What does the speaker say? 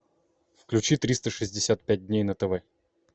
включи триста шестьдесят пять дней на тв